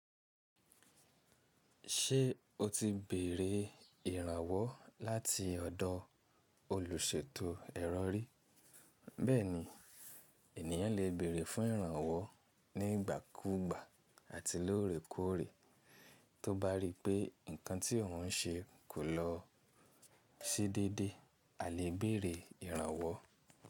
Ṣé o ti bèrè ìrànwọ́ láti ọ̀dọ̀ olùṣètò ẹ̀rọ rí? Bẹ́ẹ̀ni, ènìyàn lè bẹ̀rẹ̀ fún ìrànwọ́ nígbàkúgbà àti lóòrèkóòrè. Tó bá rí pé nǹkan tí òun ṣe kò lọ sí déédé, a lè bẹ̀rẹ̀ ìrànwọ́.